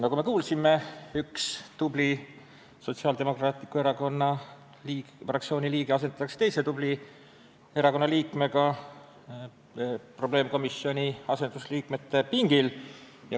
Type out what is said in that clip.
Nagu me kuulsime, üks tubli Sotsiaaldemokraatliku Erakonna fraktsiooni liige riigireformi probleemkomisjoni asendusliikmete pingil asendatakse erakonna teise tubli liikmega.